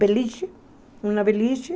Beliche, uma beliche.